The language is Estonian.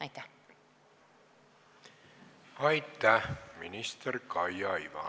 Aitäh, minister Kaia Iva!